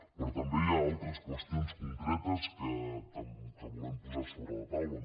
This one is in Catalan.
però també hi ha altres qüestions concretes que volem posar sobre la taula